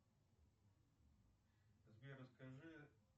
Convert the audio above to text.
сбер расскажи